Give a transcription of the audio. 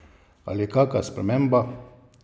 Ali kaka sprememba!